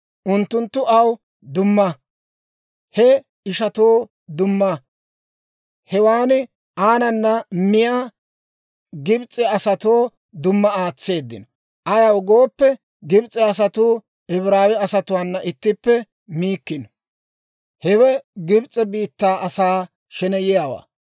Unttunttu aw dumma, he ishatoo dumma, hewaan aanana miyaa Gibs'e asatoo dumma aatseeddino; ayaw gooppe, Gibs'e asatuu Ibraawe asatuwaana ittippe miikkino. Hewe Gibs'e biittaa asaa sheneyiyaawaa.